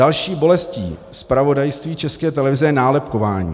Další bolestí zpravodajství České televize je nálepkování.